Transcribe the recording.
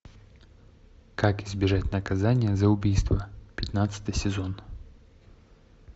как избежать наказания за убийство пятнадцатый сезон